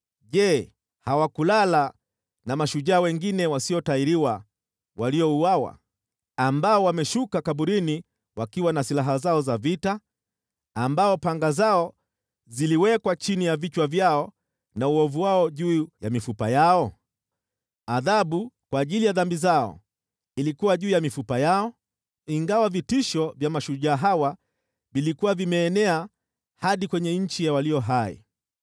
Je, hawakulala na mashujaa wengine wasiotahiriwa waliouawa, ambao wameshuka kaburini wakiwa na silaha zao za vita, ambao panga zao ziliwekwa chini ya vichwa vyao na uovu wao juu ya mifupa yao? Adhabu kwa ajili ya dhambi zao ilikuwa juu ya mifupa yao, ingawa vitisho vya mashujaa hawa vilikuwa vimeenea hadi kwenye nchi ya walio hai.